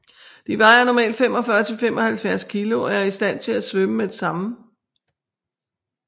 De vejer normalt 45 til 75 kg og er i stand til at svømme med det samme